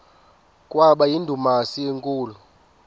kwaba yindumasi enkulu